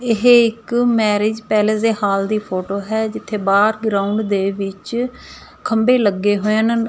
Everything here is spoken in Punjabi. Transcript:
ਇਹ ਇੱਕ ਮੈਰਿਜ ਪੈਲੇਸ ਦੇ ਹਾਲ ਦੀ ਫੋਟੋ ਹੈ ਜਿੱਥੇ ਬਾਹਰ ਗਰਾਊਂਡ ਦੇ ਵਿੱਚ ਖੰਬੇ ਲੱਗੇ ਹੋਏ ਹਨ।